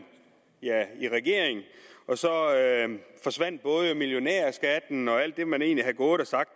i regering og så forsvandt både millionærskatten og alt det man egentlig havde gået og sagt